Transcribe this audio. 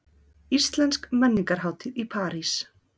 Íslensk menningarhátíð í París